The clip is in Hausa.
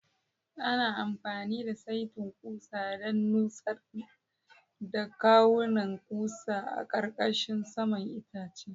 Ana amfani da saitin ƙusa don nutsar da kawunan ƙusa a ƙarƙashin saman itacen.